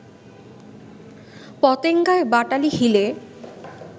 পতেঙ্গায়, বাটালি হিলে